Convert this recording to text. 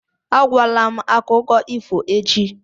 Agwala m akụkọ ifo echi!